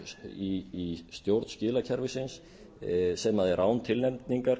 í stjórn skilakerfisins sem er án tilnefningar